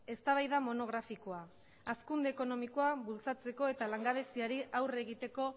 eztabaida monografikoa hazkunde ekonomikoa bultzatzeko eta langabeziari aurre egiteko